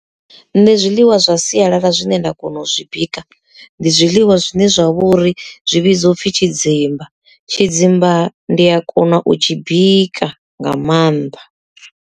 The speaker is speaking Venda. Nṋe zwiḽiwa zwa sialala zwine nda kona u zwi bika ndi zwiḽiwa zwine zwa vhori zwi vhidzwa upfhi tshidzimba, tshidzimba ndi a kona u tshi bika nga maanḓa.